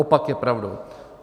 Opak je pravdou.